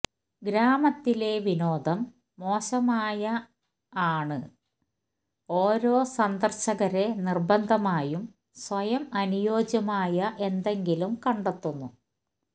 ഗ്രാമത്തിലെ വിനോദം മോശമായ ആണ് ഓരോ സന്ദർശകരെ നിർബന്ധമായും സ്വയം അനുയോജ്യമായ എന്തെങ്കിലും കണ്ടെത്തുന്നു